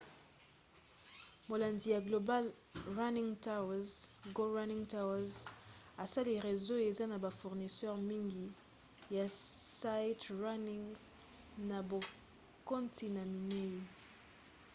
molandi ya global running tours go running tours asali réseau eza na bafournisseur mingi ya sightrunning na bakontina minei